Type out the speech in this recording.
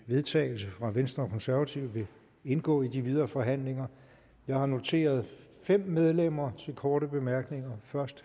vedtagelse fra venstre og konservative vil indgå i de videre forhandlinger jeg har noteret fem medlemmer med korte bemærkninger først